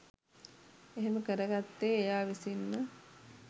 එහෙම කරගත්තේ එයා විසින්ම